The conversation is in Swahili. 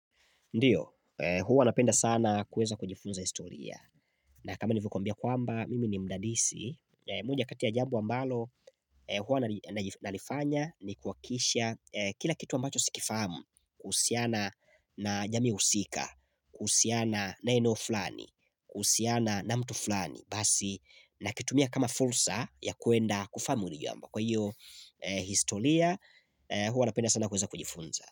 Ndiyo, hua napenda sana kuweza kujifunza historia. Na kama nilivyo kwambia kwamba, mimi ni mdadisi. Moja kati ya jambo ambalo hua nalifanya ni kuhakikisha kila kitu ambacho sikifamu. Kuhusiana na jamii husika, kuhusiana na eneo fulani, kuhusiana na mtu flani. Basi, nakitumia kama fursa ya kuenda kufamu hili jambo. Kwa hiyo, historia huwa napenda sana kuweza kujifunza.